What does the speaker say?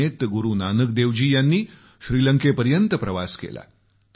दक्षिणेत गुरूनानक देवजी यांनी श्रीलंकेपर्यंत प्रवास केला